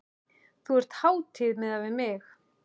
Þú ert hátíð miðað við mig.